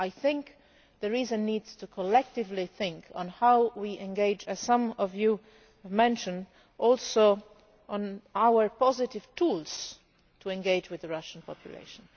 I think there is a need to collectively think on how we engage as some of you have mentioned on our positive tools to engage with the Russian population.